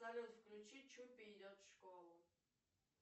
салют включи чупи идет в школу